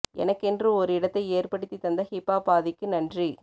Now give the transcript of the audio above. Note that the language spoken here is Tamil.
எனக்கென்று ஒரு இடத்தை ஏற்படுத்தி தந்த ஹிப் ஆப் ஆதிக்கு நன்றி